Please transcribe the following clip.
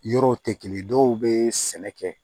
Yɔrɔw tɛ kelen dɔw bee sɛnɛ kɛ